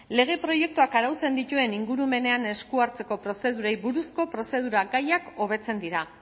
lege proiektuak arautzen dituen ingurumenean esku hartzeko prozedurei buruzko prozedura gaiak hobetzen dira